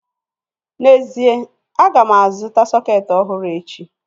N'ezie, aga m azụta sọketi ọhụrụ echi